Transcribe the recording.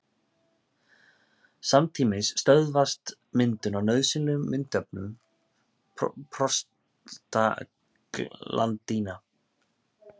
Samtímis stöðvast myndun á nauðsynlegum myndefnum prostaglandína.